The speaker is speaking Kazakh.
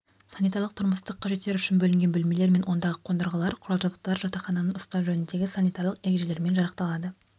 санитарлық-тұрмыстық қажеттер үшін бөлінген бөлмелер мен ондағы қондырғылар құрал-жабдықтар жатақхананы ұстау жөніндегі санитарлық ережелерімен жарақталады